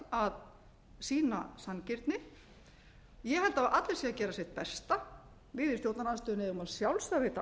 að sýna sanngirni ég held að allir séu að gera sitt besta við í stjórnarandstöðunni eigum að sjálfsögðu að veita